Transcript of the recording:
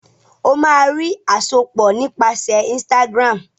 o má rí àsopọ nípasẹ Instagram